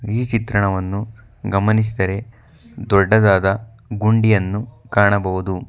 ಈ ಚಿತ್ರಣವನ್ನು ಗಮನಿಸಿದರೆ ದೊಡ್ಡದಾದ ಗುಂಡಿಯನ್ನು ಕಾಣಬಹುದು.